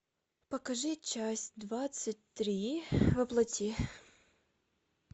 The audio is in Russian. покажи часть двадцать три во плоти